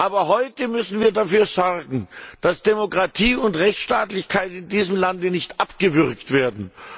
Aber heute müssen wir dafür sorgen, dass Demokratie und Rechtsstaatlichkeit in diesem Land nicht abgewürgt werden.